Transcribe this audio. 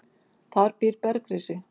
Þar býr bergrisi.